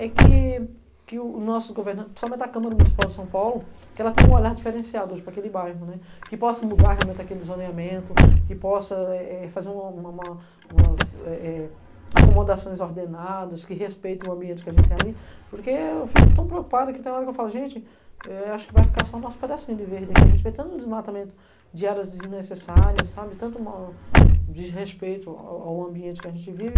é que que o nosso governo, principalmente a Câmara Municipal de São Paulo, que ela tem um olhar diferenciado hoje para aquele bairro, né, que possa mudar realmente aquele zoneamento, que possa eh eh, fazer uma uma umas, eh eh, acomodações ordenadas que respeitem o ambiente que a gente tem ali, porque eu fico tão preocupado que tem hora que eu falo, gente, eh acho que vai ficar só o nosso pedacinho de verde aqui, a gente vê tanto desmatamento de áreas desnecessárias, sabe, tanto uma desrespeito ao ao ambiente que a gente vive,